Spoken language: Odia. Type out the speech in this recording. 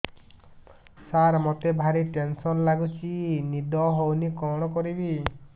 ସାର ମତେ ଭାରି ଟେନ୍ସନ୍ ଲାଗୁଚି ନିଦ ହଉନି କଣ କରିବି